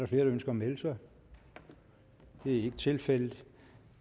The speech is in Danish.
der ønsker at melde sig det er ikke tilfældet